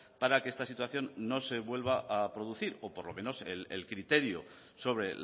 para que esta situación no se vuelva a producir o por lo menos el criterio sobre